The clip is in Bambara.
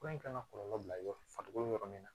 Fura in kan ka kɔlɔlɔ bila yɔrɔ fatogo min yɔrɔ min na